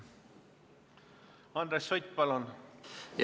Andres Sutt, palun!